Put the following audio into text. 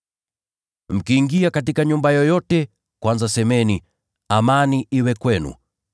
“Mkiingia katika nyumba yoyote, kwanza semeni, ‘Amani iwe kwenu.’